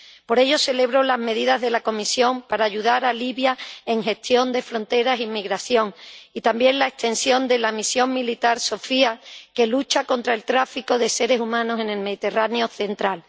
Por ello, celebro las medidas de la Comisión para ayudar a Libia en gestión de fronteras e inmigración, y también la extensión de la misión militar Sofía que lucha contra el tráfico de seres humanos en el Mediterráneo central.